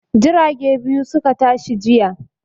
Jirage biyu su ka tashi jiya.